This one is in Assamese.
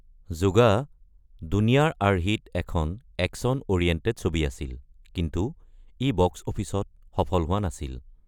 যুগা দুনিয়াৰ আৰ্হিত এখন একচন-অৰিয়েণ্টেড ছবি আছিল, কিন্তু ই বক্স অফিচত সফল হোৱা নাছিল।